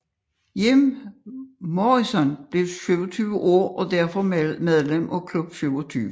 Jim Morrison blev 27 år og er derfor medlem af Klub 27